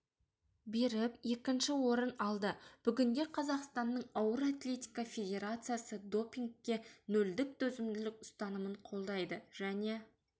беріп екінші орын алды бүгінде қазақстанның ауыр атлетика федерациясы допингке нөлдік төзімділік ұстанымын қолдайды және